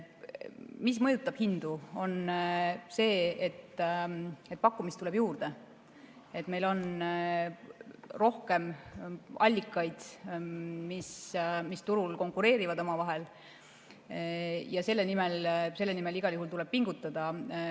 Mis mõjutab hindu, on see, et pakkumist tuleb juurde, et meil on rohkem allikaid, mis turul konkureerivad omavahel, ja selle nimel tuleb igal juhul pingutada.